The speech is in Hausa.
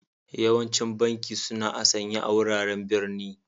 Yawancin banki suna a'sanye a wuraren birni.